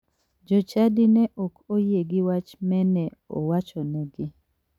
Jochadi ne ok oyie gi wach mene awachonegi.